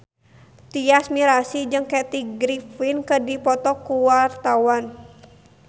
Tyas Mirasih jeung Kathy Griffin keur dipoto ku wartawan